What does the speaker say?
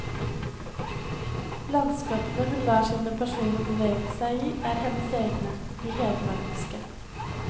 Landskapene hun lar sine personer bevege seg i er hennes egne, de hedmarkske.